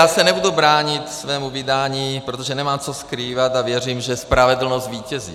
Já se nebudu bránit svému vydání, protože nemám co skrývat a věřím, že spravedlnost zvítězí.